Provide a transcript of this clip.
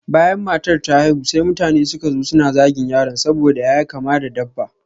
Bayan matar ta haihu, sai mutane suka zo suna zagin yaron saboda ƴaƴa kama da dabba.